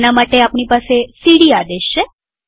તેના માટે આપણી પાસે સીડી આદેશ છે